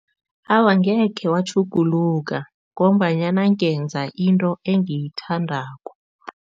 Awa, angekhe watjhuguluka ngombanyana ngenza into engiyithandako.